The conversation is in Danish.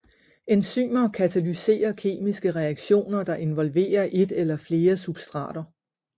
Enzymer katalyserer kemiske reaktioner der involverer et eller flere substrater